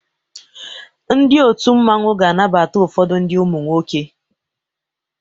Ndi otụ mmanwu ga anabata ụfodu ndi umunwoke.